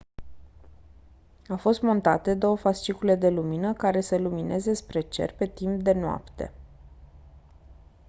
au fost montate două fascicule de lumină care să lumineze spre cer pe timp de noapte